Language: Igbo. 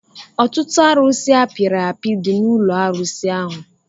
Ọtụtụ arusi apiri api dị n'ụlọ arụsi ahụ